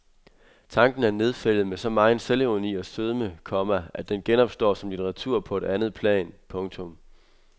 Tanken er nedfældet med så megen selvironi og sødme, komma at den genopstår som litteratur på et andet plan. punktum